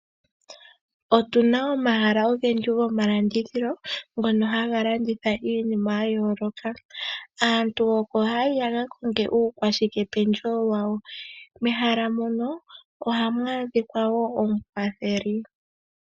Otuna omahala ogendji goma landithilo ngono haga landitha iinima ya yooloka. Aantu oko hayayi yaka konge uukwashikependjewo wawo, mehala moko ohamu adhika wo omukwatheli.